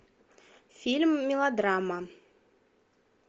фильм мелодрама